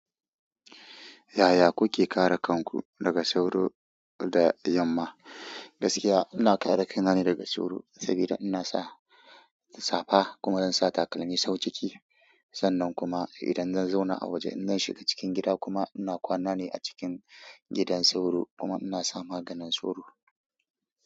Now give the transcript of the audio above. Yaya kuke kare kanku daga sauro da yamma? Gaskiya ina kare kanane daga sauro saboda ina sa safa kuma in sa takalmi sau ciki. Sannan kuma idan zan zauna a waje in na shiga cikin gida kuma ina kwana ne a cikin gidan sauro kuma ina sa maganin sauro.